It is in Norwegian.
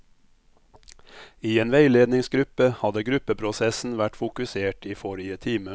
I en veiledningsgruppe hadde gruppeprosessen vært fokusert i forrige time.